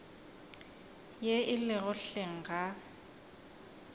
ye e lego hleng ga